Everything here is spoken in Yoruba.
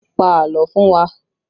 Pa àlọ́ fún wa!